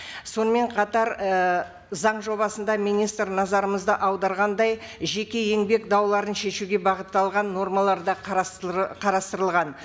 сонымен қатар ы заң жобасында министр назарымызды аударғандай жеке еңбек дауларын шешуге бағытталған нормалар да қарастырылған